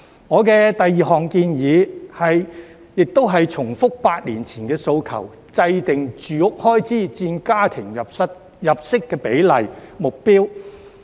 我的第二項建議，亦是重複8年前的訴求，制訂"住屋開支佔家庭入息比例"指標。